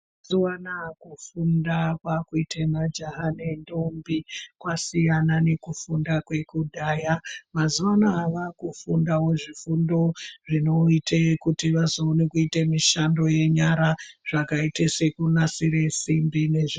Mazuwanaya kufunda kwakuite majaha nendombi kwasiyana nekufunda kwekudhaya mazuwa anaya vakufunde zvifundo zvinoite kuti azoone kuzoite mushando yenyara zvakaite sekuzonasire simbi.